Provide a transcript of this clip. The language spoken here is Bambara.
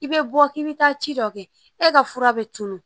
I bɛ bɔ k'i bɛ taa ci dɔ kɛ e ka fura bɛ tunun